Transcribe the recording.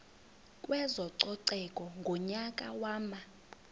kwezococeko ngonyaka wama